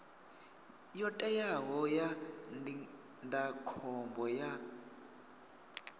yo teaho ya ndindakhombo ya